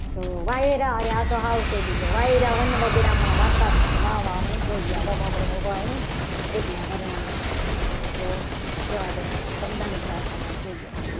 તો વાયરા અરે આ તો સાવ સહેલું વાયરા વન વગડામાં વાતા તા વાવા વંટોડિયા એટલે આ વર્ણનુપ્રાસ છે. તો જવા દો.